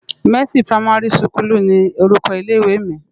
Mèsi pirámàri sikúlú ni órúkò ilé iwé mi